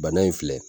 Bana in filɛ